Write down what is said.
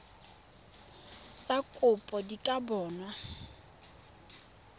tsa kopo di ka bonwa